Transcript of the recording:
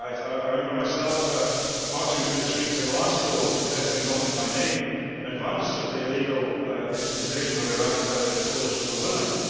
I remember myself marching through the streets of Glasgow protesting Not in my nameʼ in advance of the illegal invasion of Iraq by the coalition of the willing.